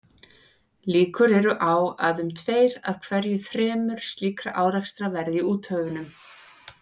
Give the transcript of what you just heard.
Líkur eru á að um tveir af hverju þremur slíkra árekstra verði í úthöfunum.